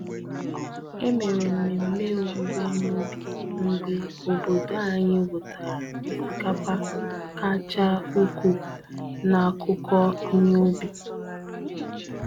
E mere mmemme owuwe ihe ubi mgbe obodo anyị wutara osikapa kacha ukwuu n'akụkọ ihe ubi.